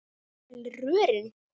jafnvel rörin.